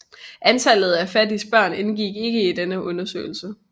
Antallet af fattige børn indgik ikke i denne undersøgelse